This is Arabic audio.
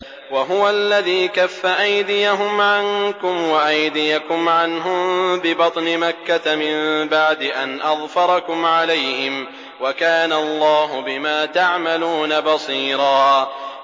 وَهُوَ الَّذِي كَفَّ أَيْدِيَهُمْ عَنكُمْ وَأَيْدِيَكُمْ عَنْهُم بِبَطْنِ مَكَّةَ مِن بَعْدِ أَنْ أَظْفَرَكُمْ عَلَيْهِمْ ۚ وَكَانَ اللَّهُ بِمَا تَعْمَلُونَ بَصِيرًا